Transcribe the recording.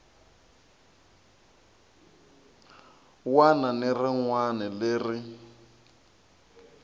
wana ni rin wana leri